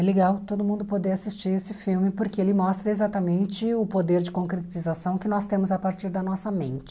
É legal todo mundo poder assistir esse filme porque ele mostra exatamente o poder de concretização que nós temos a partir da nossa mente.